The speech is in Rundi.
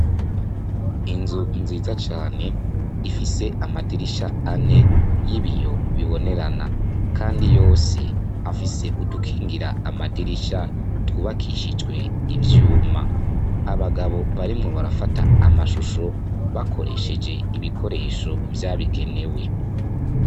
Inzu nziza cane ifise amadirisha ane y'ibiyo bibonerana kandi yose afise udukindira amadirisha twubakishijwe ivyuma. Abagabo barimwo barafata amashusho bakoresheje ibikoresho vyabigenewe.